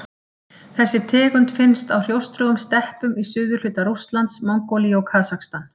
Þessi tegund finnst á hrjóstrugum steppum í suðurhluta Rússlands, Mongólíu og Kasakstan.